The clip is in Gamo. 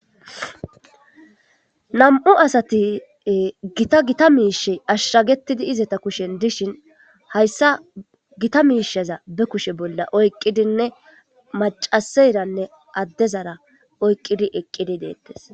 Nam'u asati gita gita miishe ashshagetidi izata kushen dishin hayssa gita miisheza be kushe bolla oyqqidinne macaseyranne addezara oyqqidi eqqidi deettes.